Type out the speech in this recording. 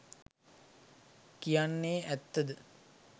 කියන්නෙ ඇත්ත ද?